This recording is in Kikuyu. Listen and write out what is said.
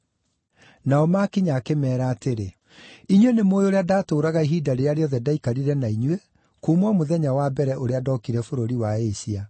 Nao maakinya, akĩmeera atĩrĩ, “Inyuĩ nĩ mũũĩ ũrĩa ndaatũũraga ihinda rĩrĩa rĩothe ndaaikarire na inyuĩ, kuuma o mũthenya wa mbere ũrĩa ndookire bũrũri wa Asia.